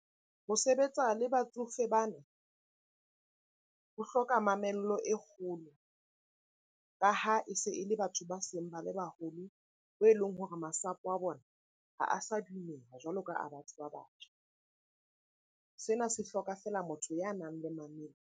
Ho sebetsa le batsofe bana ho hloka mamello e kgolo. Ka ha e se e le batho ba seng ba le baholo bo e leng hore masapo a bona ha a sa dumela jwalo ka a batho ba batjha. Sena se hloka feela motho ya nang le mamello.